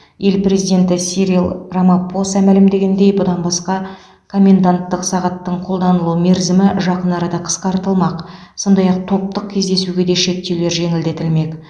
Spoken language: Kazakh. ел президенті сирил рамапоса мәлімдегендей бұдан басқа коменданттық сағаттың қолданылу мерзімі жақын арада қысқартылмақ сондай ақ топтық кездесугеде шектеулер жеңілдетілмек